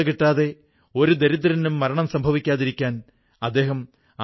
രാജ്യമെങ്ങും സ്വയംസഹായതാ സംഘങ്ങളും മറ്റു സ്ഥാപനങ്ങളും ഖാദിയുടെ മാസ്കുകൾ ഉണ്ടാക്കുന്നു